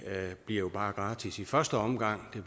bliver jo bare gratis i første omgang men